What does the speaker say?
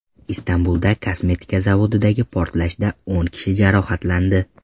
Istanbulda kosmetika zavodidagi portlashda o‘n kishi jarohatlandi.